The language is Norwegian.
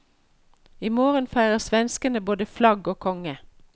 I morgen feirer svenskene både flagg og konge.